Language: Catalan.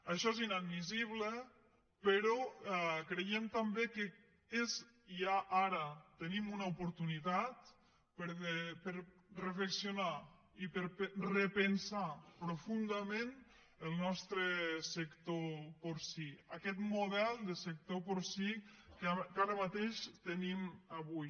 això és inadmissible però creiem també que ja ara tenim oportunitat per reflexionar i per repensar profundament el nostre sector porcí aquest model de sector porcí que ara mateix tenim avui